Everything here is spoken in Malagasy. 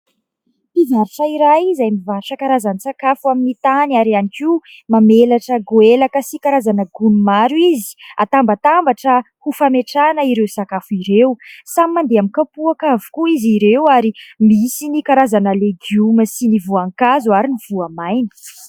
Mpivarotra iray izay mivarotra karazan-tsakafo amin'ny tany ary ihany koa mamelatra goelaka sy karazana gony maro izy hatambatambatra ho fametrahana ireo sakafo ireo. Samy mandeha amin'ny kapoaka avokoa izy ireo ary misy ny karazana legioma sy ny voanka zo ary ny voamaina.